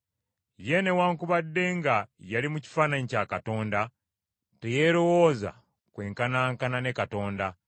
ye newaakubadde nga yali mu kifaananyi kya Katonda, Teyeerowooza kwenkanankana ne Katonda,